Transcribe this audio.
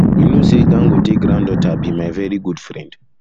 you no know say dangote granddaughter be my very good friend